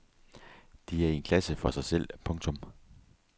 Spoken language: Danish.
De er i en klasse for sig selv. punktum